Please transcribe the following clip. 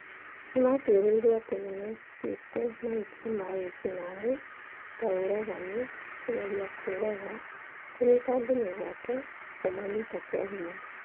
Nĩ maatuĩrĩirũo atĩ nĩ mekĩte mahĩtia ma ma wĩki naĩ . Ta ũragani, kũgeria kũũraga, kũnyiita andũ mĩgwate na kũmanyita kĩa hinya.